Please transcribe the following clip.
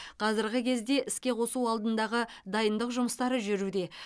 қазіргі кезде іске қосу алдындағы дайындық жұмыстары жүруде